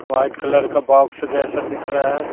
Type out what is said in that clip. White colour का box जैसा दिख रहा है।